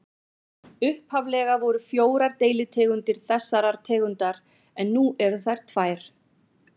Upphaflega voru fjórar deilitegundir þessarar tegundar en nú eru þær tvær.